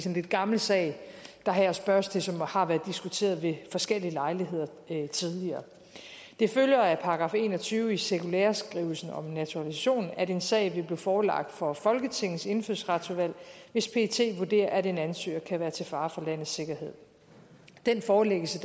en lidt gammel sag der her spørges til og som har været diskuteret ved forskellige lejligheder tidligere det følger af § en og tyve i cirkulæreskrivelsen om naturalisation at en sag vil blive forelagt for folketingets indfødsretsudvalg hvis pet vurderer at en ansøger kan være til fare for landets sikkerhed den forelæggelse